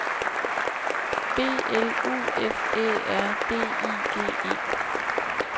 B L U F Æ R D I G E